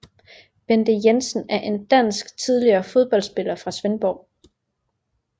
Bente Jensen er en dansk tidligere fodboldspiller fra Svendborg